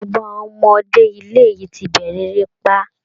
Gbogbo àwọn ọmọdé ilé yìí ti bẹ̀rẹ̀ erépá